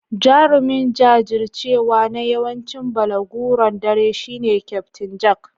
Jarumin jajircewa na yawancin balaguron dare shine Kyaftin Jack.